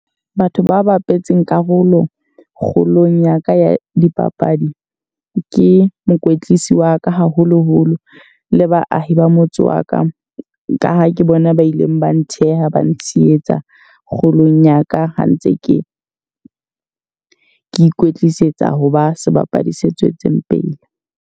Batho ba bapetseng karolo kgolong ya ka ya dipapadi ke mokwetlisi wa ka haholo-holo. Le baahi ba motse wa ka. Ka ha ke bona ba ileng ba ntheha, ba ntsheyetsa kgolong ya ka. Ha ntse ke ikwetlisetsa ho ba sebapadi se tswetseng pele.